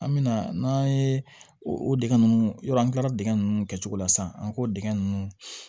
An mɛna n'an ye o dingɛ nunnu yɔrɔ an kila dingɛ nunnu kɛcogo la sisan an k'o dingɛ nunnu